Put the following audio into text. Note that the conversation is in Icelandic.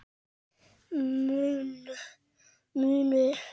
Munu þessar þyrlur duga okkur?